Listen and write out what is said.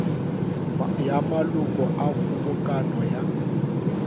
ya maloko a kgobokano ya